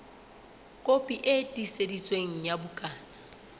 kopi e tiiseditsweng ya bukana